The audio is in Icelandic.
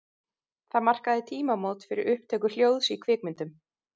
Það markaði tímamót fyrir upptöku hljóðs í kvikmyndum.